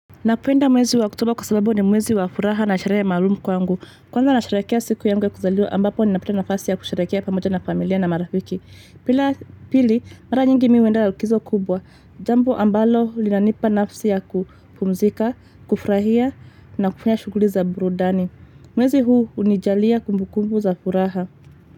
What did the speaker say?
Napoenda mwezi wa october kwa sababu ni mwezi wa furaha na nasherehe maalumu kwangu. Kwanza nasherehekea siku yangu ya kuzaliwa ambapo ni napata nafasi ya kusherehekea pamoja na familia na marafiki. Pila pili, mara nyingi miuenda lakizo kubwa. Jambo ambalo linanipa nafsi ya kupumzika, kufrahia na kufanya shuguli za burudani. Mwezi huu unijalia kumbu kumbu za furaha.